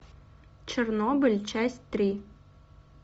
чернобыль часть три